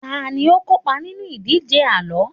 tani o kópa nínú ìdíje àlọ